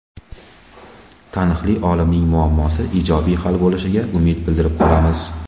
Taniqli olimning muammosi ijobiy hal bo‘lishiga umid bildirib qolamiz.